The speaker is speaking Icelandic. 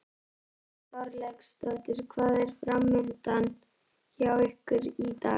Þórhildur Þorkelsdóttir: Hvað er framundan hjá ykkur í dag?